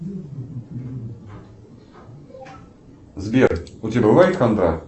сбер у тебя бывает хандра